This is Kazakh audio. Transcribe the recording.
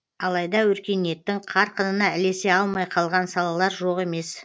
алайда өркениеттің қарқынына ілесе алмай қалған салалар жоқ емес